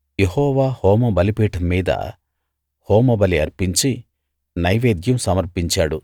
యెహోవా హోమ బలిపీఠం మీద హోమబలి అర్పించి నైవేద్యం సమర్పించాడు